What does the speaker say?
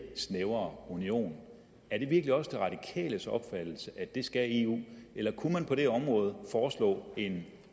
snævrere union er det virkelig også de radikales opfattelse altså at det skal eu eller kunne man på det område foreslå en